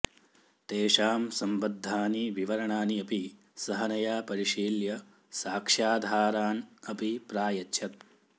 तेषां सम्बद्धानि विवरणानि अपि सहनया परिशील्य साक्ष्याधारान् अपि प्रायच्छत्